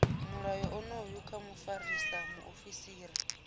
mulayo onoyu kha mufarisa muofisiri